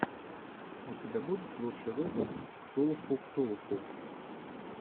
у тебя будет лучший выпуск ктулху ктулху